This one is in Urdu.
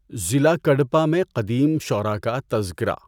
ضلع کڈپہ میں قدیم شعراء کا تذکرہ